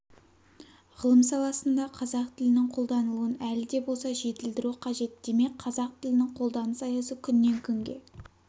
ғылым саласында қазақ тілінің қолданылуын әлі де болса жетілдіру қажет демек қазақ тілінің қолданыс аясы күннен-күнге